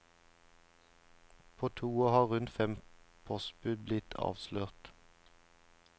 På to år har rundt fem postbud blitt avslørt.